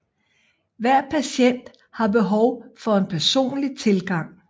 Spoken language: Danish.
Hver patient har behov for en personlig tilgang